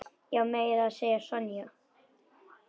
Já, meira að segja Sonja.